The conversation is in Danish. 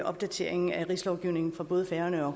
opdateringen af rigslovgivningen for både færøerne og